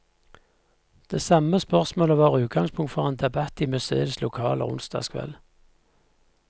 Det samme spørsmålet var utgangspunkt for en debatt i museets lokaler onsdag kveld.